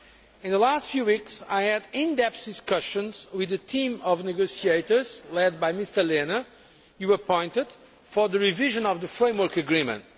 In the last few weeks, I had in depth discussions with the team of negotiators led by Mr Lehne, whom you appointed, for the revision of the Framework Agreement.